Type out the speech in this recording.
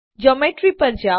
Geometryપર જાઓ